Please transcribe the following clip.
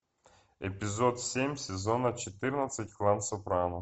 эпизод семь сезона четырнадцать клан сопрано